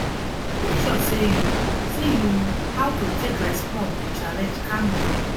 mek sure sey yu sey yu how to take respond to challenge calmly